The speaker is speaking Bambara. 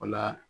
O la